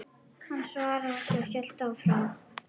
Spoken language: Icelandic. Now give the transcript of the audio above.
Hann svaraði ekki, hélt áfram.